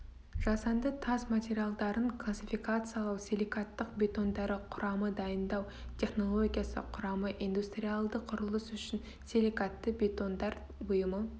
жасанды тас материалдарын классификациялау силикаттық бетондары құрамы дайындау технологиясы құрамы индустриальді құрылыс үшін силикатты бетондар бұйымы